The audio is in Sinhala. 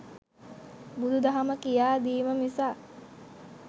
බුදුදහම කියා දීම මිසක්